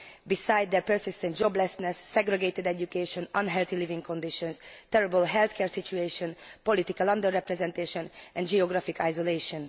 besides their persistent joblessness, segregated education, unhealthy living conditions, terrible healthcare situation, political under representation and geographical isolation.